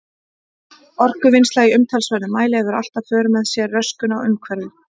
Orkuvinnsla í umtalsverðum mæli hefur alltaf í för með sér röskun á umhverfi.